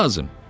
Nə lazım?